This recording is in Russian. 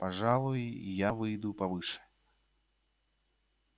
пожалуй и я выйду повыше